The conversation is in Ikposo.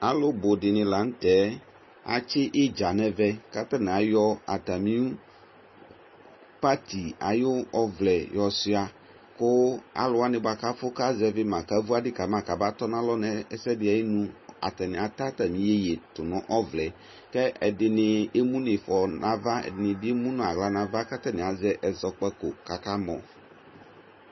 Alʋ bʋ di ni la nʋ tɛ Atsi idza nɛvɛ kʋ atani ayɔ atami pati ayu ɔvlɛ yɔsuia kʋ alʋwani boa kʋ afʋ kazɛvi ma, kavu adi kama kabatɔ nalɔ nʋ ɛsɛdi ayinu atani ata atami iyeye tʋ nʋ ɔvlɛ ɛ kʋ ɛdini emu nʋ ifɔ nava, ɛdini bi emu nʋ aɣla nava kʋ atani azɛ ɛzɔkpako kʋ akamɔ